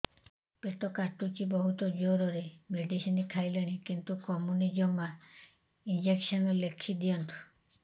ପେଟ କାଟୁଛି ବହୁତ ଜୋରରେ ମେଡିସିନ ଖାଇଲିଣି କିନ୍ତୁ କମୁନି ଜମା ଇଂଜେକସନ ଲେଖିଦିଅନ୍ତୁ